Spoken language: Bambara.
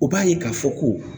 U b'a ye k'a fɔ ko